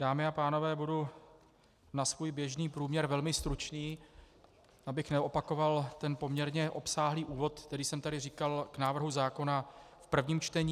Dámy a pánové, budu na svůj běžný průměr velmi stručný, abych neopakoval ten poměrně obsáhlý úvod, který jsem tady říkal k návrhu zákona v prvním čtení.